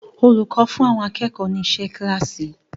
Olùkọ́ fún àwọn akẹ́kọ̀ọ́ ni iṣẹ́ kíláàsì.